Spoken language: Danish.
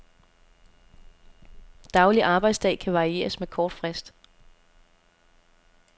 Daglig arbejdsdag kan varieres med kort frist.